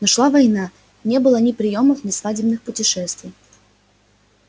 но шла война и не было ни приёмов ни свадебных путешествий